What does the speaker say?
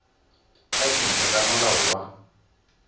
ka dintlha tsa molao wa